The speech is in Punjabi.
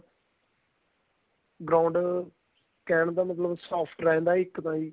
ground ਕਹਿਣ ਦਾ ਮਤਲਬ soft ਰਹਿੰਦਾ ਇੱਕ ਤਾਂ ਜੀ